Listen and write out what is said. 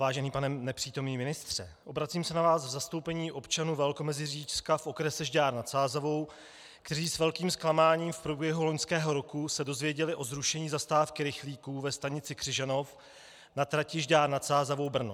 Vážený pane nepřítomný ministře, obracím se na vás v zastoupení občanů Velkomeziříčska v okrese Žďár nad Sázavou, kteří s velkým zklamáním v průběhu loňského roku se dozvěděli o zrušení zastávky rychlíku ve stanici Křižanov na trati Žďár nad Sázavou - Brno.